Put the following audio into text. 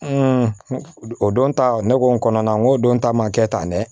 o don ta ne ko n kɔnɔ na n ko don ta ma kɛ tan dɛ